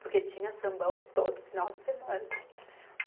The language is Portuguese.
Porque tinha sambão todo final de semana.